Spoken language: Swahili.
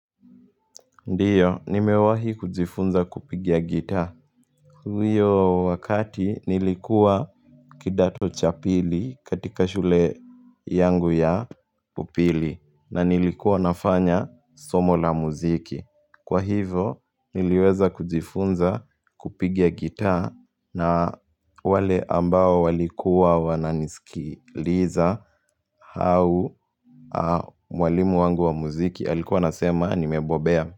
Ndiyo, nimewahi kujifunza kupigia guitar. Hiyo wakati nilikuwa kidato cha pili katika shule yangu ya upili na nilikuwa nafanya somo la muziki. Kwa hivo, niliweza kujifunza kupigia gita na wale ambao walikuwa wananisikiliza hau mwalimu wangu wa muziki alikuwa nasema nimebobea.